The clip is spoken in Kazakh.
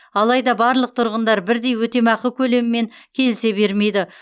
алайда барлық тұрғындар бірдей өтемақы көлемімен келісе бермейді